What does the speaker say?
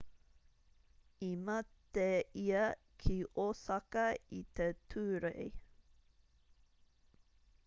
i mate ia ki osaka i te tūrei